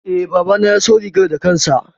E, babana ya siyo rigar da kansa.